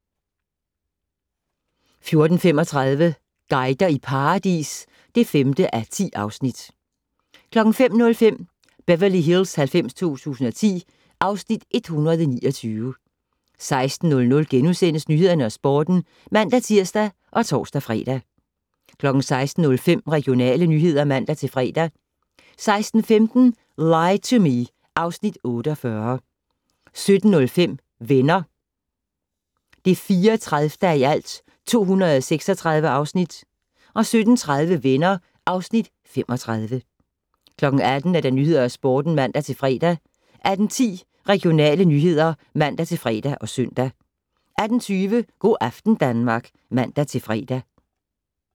14:35: Guider i paradis (5:10) 15:05: Beverly Hills 90210 (Afs. 129) 16:00: Nyhederne og Sporten *(man-tir og tor-fre) 16:05: Regionale nyheder (man-fre) 16:15: Lie to Me (Afs. 48) 17:05: Venner (34:236) 17:30: Venner (Afs. 35) 18:00: Nyhederne og Sporten (man-fre) 18:10: Regionale nyheder (man-fre og -søn) 18:20: Go' aften Danmark (man-fre)